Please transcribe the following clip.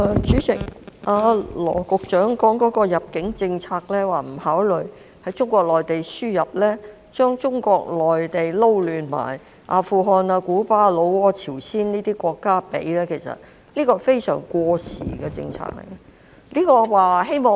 主席，羅局長提到基於入境政策而不考慮從中國內地輸入家庭傭工，並將中國內地與阿富汗、古巴、老撾、朝鮮等國家混為一談，這是非常過時的政策。